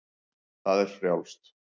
Það er frjálst.